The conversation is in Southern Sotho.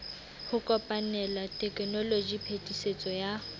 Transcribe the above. ho kopanela tekenoloji phetisetso ya